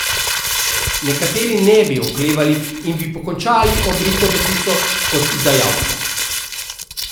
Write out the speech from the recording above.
Nekateri ne bi oklevali in bi pokončali Obrito betico kot izdajalca.